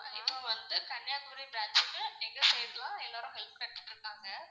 இப்போ வந்து கன்னியாகுமாரி branch க்கு எங்க side லாம் எல்லாரும் help கெடச்சிட்டு இருக்காங்க.